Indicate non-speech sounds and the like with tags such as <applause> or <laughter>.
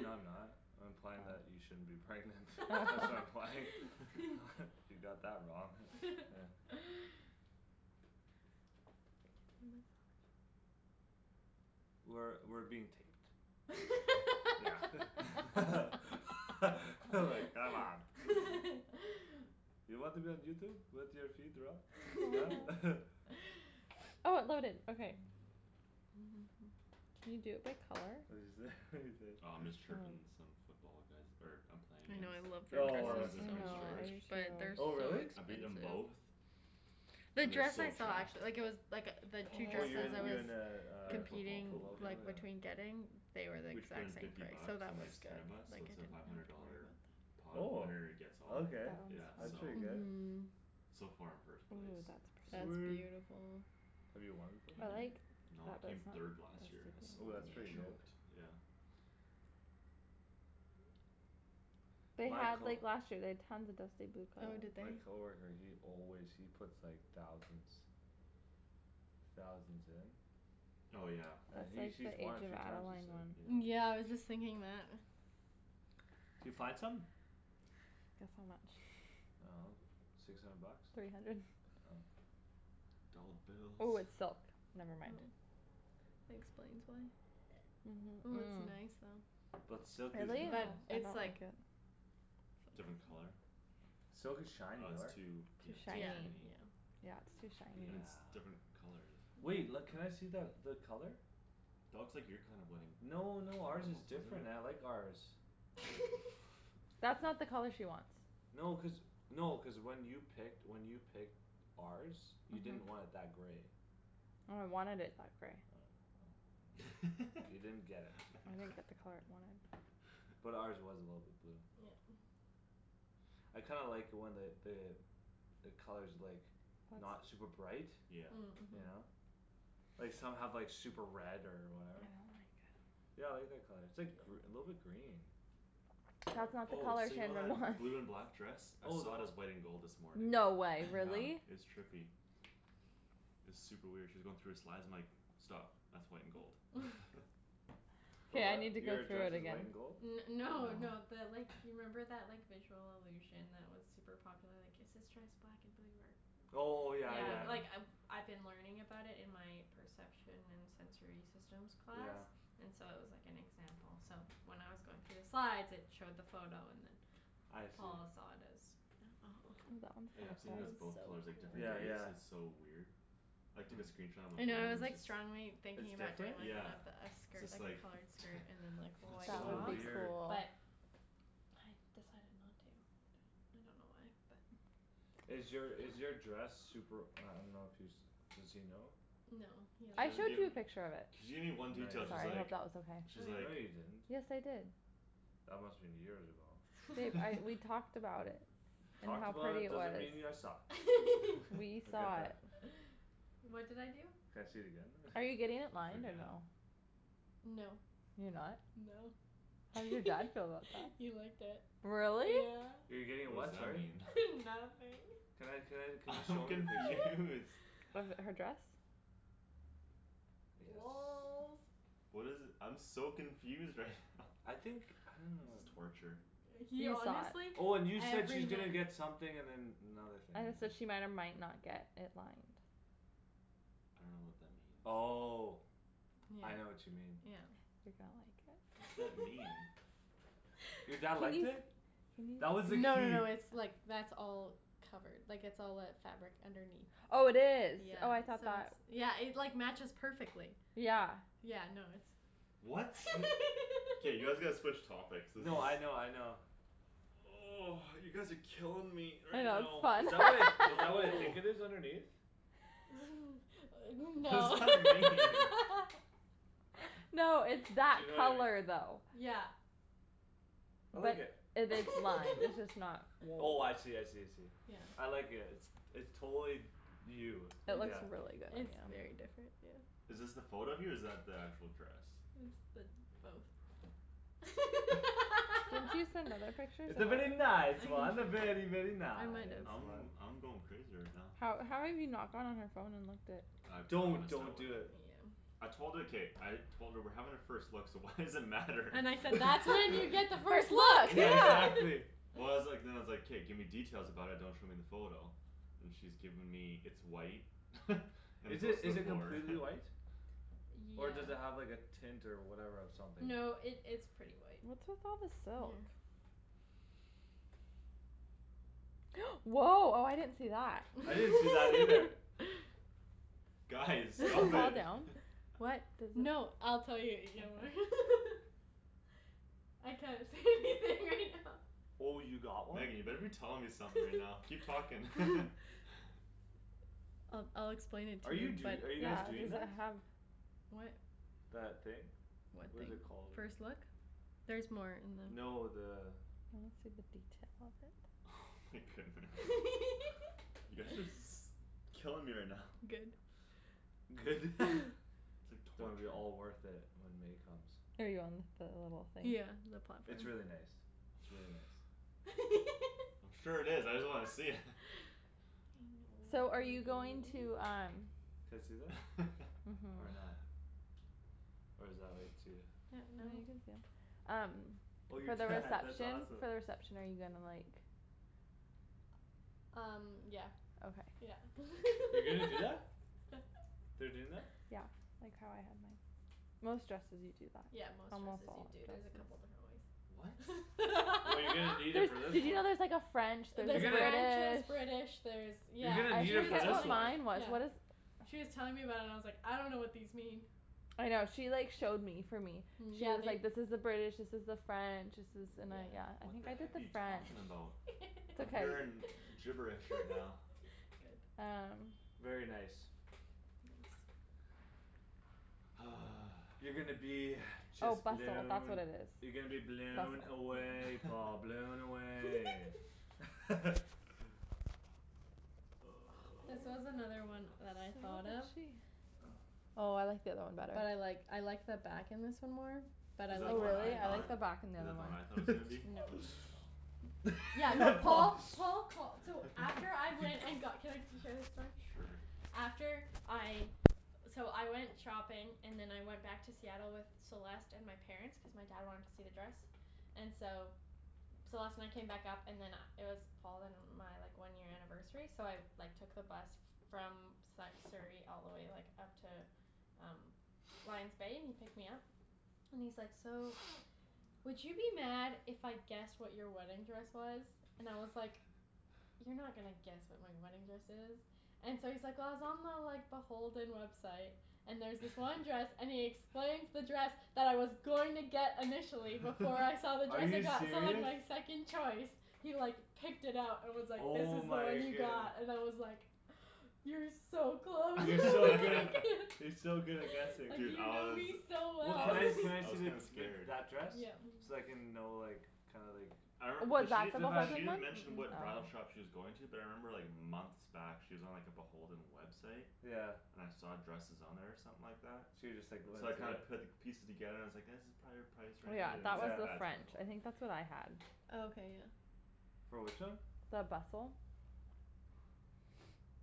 No, I'm not. I'm implying that you shouldn't be pregnant. That's what I'm implying. <laughs> <laughs> You got that wrong. Yeah. <laughs> I guess. We're, we're being taped. Yeah <laughs> <laughs> like, come on. <laughs> You want to be on Youtube? With your feet rub? Huh? <laughs> <laughs> <noise> Can you do it by color? What'd you say? What'd you say? Oh, I'm just chirping some football guys er I'm playing I know, against. I love The their Oh. foreman's in dresses so Prince George. much but they're Oh so really? I've beaten expensive. them both. The And they're dress so I saw trashed. actu- like, it was Like, the two Oh you dresses I in, you was in uh, In a a football football Competing, pool, pool? yeah. like, Yeah. between getting They were, like, We each put in exact same fifty price so bucks that and was there's ten good. of us Like, so I it's a didn't five have hundred to worry dollar about that. Pot Oh. winner-gets-all, That Okay, yeah, that's one's so. pretty fun though. good. Mhm. So far I'm first place. Ooh, that's That's pretty. Sweet. beautiful. Have you won before? I like No, I that came this third last year Oh, one that's has <inaudible> <inaudible> pretty good. choked, yeah. They My had, co- like, last year they'd tons of dusty blue Oh, did they? My color coworker, he always, he puts, like, thousands Thousands in. Oh, yeah. And That's he's, like he's the won a Age of few times, Adeline he said. one. Yeah. Yeah, I was just thinking that. D'you find something? Guess how much. I dunno, six hundred bucks? Three hundred. Oh. Dolla Oh, bills. it's silk. Oh, Never mind. that explains why. Ooh, it's nice though. But silk is Really? But nice. I it's don't like like it. So Different pricey. color? Silk is shiny, Oh, it's right? too, Too yeah, too Yeah, shiny. shiny. yeah. Yeah, it's too Yeah. And it's shiny. different color, the Wait. L- Yeah. can I see that, the color? That looks like your kind of wedding. No, no, ours is different, I <inaudible> like ours. <laughs> <laughs> That's not the color she wants. No, cuz, no, cuz when you picked, when you picked ours You didn't want it that grey. No, I wanted it that grey. Oh. <noise> You didn't get it. I didn't get the color I wanted. <laughs> But ours was a little bit blue. Yeah. I kinda like when the, the The color's, like, not That's super bright. Yeah. Mm. You Mhm. know? Like some have, like, super red or I don't whatever. like it. Yeah, I like that color. It's Yeah. like gr- a little bit green. That's <noise> not the Oh, color so you know Shandryn that wants. blue and black dress? I Oh, then saw it wha- as white and gold this morning. No <noise> way, Yeah, really? it's trippy. It's super weird. She was going through her slides, I'm like "Stop, that's white and gold." <laughs> <laughs> For K, I what? need to go Your through dress it is again. white and gold? N- no, no, No. the like <noise> You remember that, like, visual illusion That was super popular, like, is this dress black and blue or Oh, yeah, Yeah, yeah. like, Yeah. I I've been learning about it in my Perception and sensory systems class Yeah. And so it was, like, an example so When I was going through the slides it showed the photo and then I see. Paul saw it as That one's Yeah, kinda I've seen Fall, it as it's so both colors, like, different Yeah, cool. days. yeah. It's so weird. I took a Hmm. screenshot on my I know phone I was, and it's like, just strongly thinking It's about doing different? like one Yeah. of the It's skirt, just like a like, colored skirt and then, like <laughs> "What's White That going So would on?" tops be weird. cool. but I decided not to. I don't know why, but Is your, is your dress Super, I dunno if he's, does he know? No, he She I hasn't doesn't showed give you seen a it. picture of it. She gave me one No, detail, Sorry, you she's I didn't. hope like that was okay. She's like No, <noise> you Like, didn't.. yes, I did. That must've been years ago. Babe, <laughs> I, we <laughs> talked about it. And Talked how about pretty it it was. doesn't mean you saw. <laughs> We I'll <laughs> get saw that. it. <noise> What did I do? Can I see it again then? <laughs> Are you getting it I lined or forget. no? No. You're not? No. How did your dad feel about that? <laughs> He liked it. Really? Yeah. You're getting it What's what, that sorry? mean? <laughs> <laughs> Nothing. Can I, can I, <laughs> can you I'm show me the picture? confused. <noise> With her dress? Yes. Lolz. What is it, I'm so confused right now. I <laughs> think, I don't This is know. torture. He He saw honestly it. Oh, and you said every she's gonna night get something and then another thing I had to said she might or might not get it lined. I dunno what that means. Oh, Yeah, Yeah, I know what you mean. yeah. yeah. You're gonna like it. What does that mean? <laughs> Your dad liked it? That was No the no key. no, it's, like, that's all Covered. Like, it's all that fabric underneath. Oh, it is. Yeah, Oh, I thought so it's, that yeah, it, like, matches perfectly. Yeah. Yeah, no, it's What? K, you guys gotta <laughs> switch topics. This is No, I know, I know. <noise> You guys are killing me I right know, it's now. Is fun. that what I, is that what I <laughs> No. think it is underneath? <laughs> <laughs> What does No. that This mean? <laughs> No, it's that You know i- color though. Yeah. I like But it. it, it's lime, it's just <noise> <laughs> not Oh, <inaudible> I see, I see, I see. Yeah. I like it. It's, it's totally You. No, It it's looks Yeah. just, really good on it's you. very different, yeah. Is this the photo of you or is that the actual dress? It's the, both. <laughs> Didn't you <laughs> send other pictures? I It's a very I nice control one. can A very, very, In a nice nice I'm, one. way. I'm going crazy right now. How, how have you not gone on her phone and looked at I Don't, promised her I don't do Yeah. it. wouldn't. Yeah. I told her. K, I Told her we're having a first look so why does it matter? And I <laughs> said, "That's when you <laughs> get the first Yeah, look!" <laughs> exactly. Well, I was like, then I was like, "K, give me details about it; don't show me the photo." And she's given me, "It's white." <laughs> "And Is it's it, a" is it completely white? <inaudible> Yeah. Or does it have, like, a tint or whatever or something? No, it, it's pretty white. What's with all the silk? Mhm. <noise> Woah, oh, I didn't see that. I didn't see that either. <laughs> Guys, Does it stop fall it. down? <laughs> <laughs> What, Does it no, I'll tell you <inaudible> <laughs> Oh, you got one? Megan, you better be telling me something right now. Keep talking. <laughs> I'll, I'll explain it Are to you you but do- are you guys doing that? What? That thing? What What thing? is it called, I First dunno. look? Theres more. And then No, the I wanna see the detail of it. Oh my goodness. <laughs> You guys are s- killing me right now. Good. Good. <laughs> <laughs> It's like Gonna be torture. all worth it when May comes. Are you on the little thing? Yeah, the pot thing. It's really nice. It's really nice. <laughs> Sure it is. I just wanna see it. I know So we're are you being very going mean. to um Can I see that? Or Mhm. <laughs> not? Or is that, like, too Yeah, no. No, you can see it. Um Oh your For the dad, that's reception, for awesome. the reception are you gonna, like Um yeah, Okay. yeah. You're gonna do <laughs> that? They're doing that? Yeah, like how I had mine. Most dresses you do that. Yeah, most Almost dresses do, all the dude; there's a dresses couple different What? ways. <laughs> Well, you're gonna need it There's, <laughs> for this did you one. know there's like a French You're There's a gonna French, There's there's British British, there's You're Yeah, gonna uh need she She it was was for this telling telling, one. mine was, yeah. what is She was telling me about it and I was like, "I dunno what these mean." I know. She like showed me for me. Yeah, Yeah, and she's they like, "This is the British, this is the French." "This is" and I, Yeah. yeah, I What think the I did heck are the you French. talking about? It's I'm okay. hearing <laughs> gibberish right now. Good. Um Very nice. Thanks. <noise> You're gonna be Oh just bustle, that's what blown. it You're gonna be is. blown Bustle. away, Paul, <laughs> blown away. <laughs> <laughs> This was another one So that I what thought was of. she? Oh I like the other one better. But I like, I like the back in this one more. But Is I that the one I Really? I thought? like like the <inaudible> the back on the Is other that the one I one. thought it was gonna be? No. Oh. Yeah, no, <laughs> Paul Paul, Paul call- so After I He went and got, ca- can I share this story? Sure. After I So I went shopping And then I went back to Seattle with Celeste and my Parents, cuz my dad wanted to see the dress And so Celeste and I came back up and then uh it was Paul and uh my, like, one year anniversary so I Like, took the bus from Sa- Surrey all the way, like, up to Um Lion's Bay, and he picked me up And he's like, "So Would you be mad if I guessed what your wedding dress was?" And I was like <laughs> "You're not gonna guess what my wedding dress is." And so he's like, "Well, I was on the, like, the Beholden website." "And there was this one dress," <laughs> and he explains the dress That I was going to get initially before I <laughs> saw the Are dress I you got, so, like, serious? my second choice. He, like, picked it up and was like, "This Oh is the one my you goodne- got" and I was like <noise> "You're so close." You're so good at, <laughs> you're <laughs> so good at guessing. Like, Dude, you I know was, me so Well, I can well. I, was, can I I see was the, kinda <laughs> the, scared. that dress? Yeah. So I can know, like, kinda like I re- cuz she, she <noise> didn't mention Mm- what bridal mm. Oh. shop she was going to. But I remember, like, months back she was on, like, the Beholden website. Yeah. And I saw dresses on there or something like that So you just, like, went So I into kinda there? put pieces together and I was like "That's prolly our price Oh, range." yeah, And I that was was Yeah. like, the "That's French. probably the I one." think that's what I had. Oh, okay, yeah. For which one? The bustle.